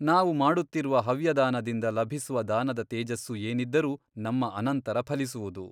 ನಾವು ಮಾಡುತ್ತಿರುವ ಹವ್ಯದಾನದಿಂದ ಲಭಿಸುವ ದಾನದ ತೇಜಸ್ಸು ಏನಿದ್ದರೂ ನಮ್ಮ ಅನಂತರ ಫಲಿಸುವುದು.